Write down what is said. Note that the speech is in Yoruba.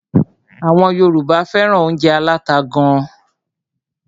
Àwọn Yorùbá fẹ́ràn óúnjẹ aláta gán.